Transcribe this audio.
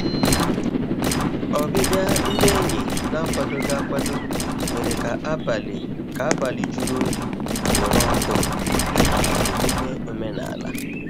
Ọbịbịa ndị enyi n'akwadoghị akwado mèrè ka abalị ka abalị jụrụ oyi kporo ọkụ n'ihi emume omenala. um